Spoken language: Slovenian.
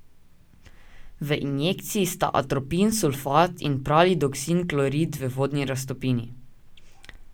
V injekciji sta atropin sulfat in pralidoksim klorid v vodni raztopini.